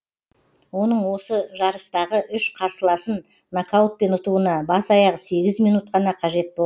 оның осы жарыстағы үш қарсыласын нокаутпен ұтуына бас аяғы сегіз минут қана қажет болды